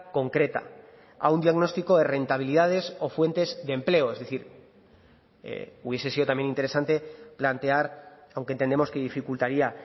concreta a un diagnóstico de rentabilidades o fuentes de empleo es decir hubiese sido también interesante plantear aunque entendemos que dificultaría